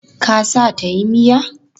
Ka sa ta tayi miya?